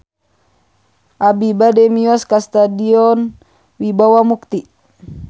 Abi bade mios ka Stadion Wibawa Mukti